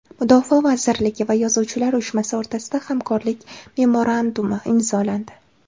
Mudofaa vazirligi va Yozuvchilar uyushmasi o‘rtasida hamkorlik memorandumi imzolandi.